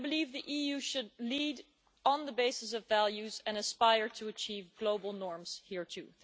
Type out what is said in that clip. The EU should lead on the basis of values and aspire to achieve global norms here too.